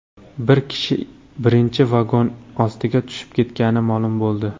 Bir kishi birinchi vagon ostiga tushib ketgani ma’lum bo‘ldi.